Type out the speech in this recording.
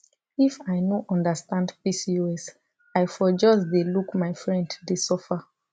if i no understand pcos i for just dey look my friend dey suffer